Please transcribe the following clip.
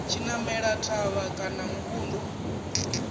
tshi namela thavha kana muvhundu